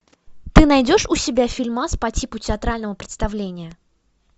ты найдешь у себя фильмас по типу театрального представления